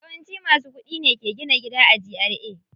Yawanci masu kuɗi ne ke gina gida a GRA.